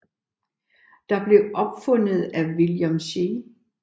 Det blev opfundet af William C